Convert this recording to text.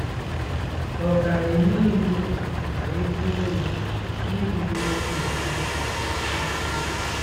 Ọ ga-enye iwu ka e gbuo ya n'irubere nna ya isi?